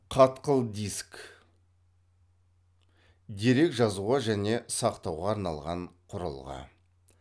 қатқыл диск дерек жазуға және сақтауға арналған құрылғы